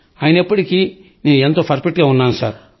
అయినప్పటికీ నేను ఎంతో పర్ఫెక్ట్ గా ఉన్నాను సార్